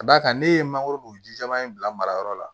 Ka d'a kan ne ye mangoro jijalan in bila marayɔrɔ la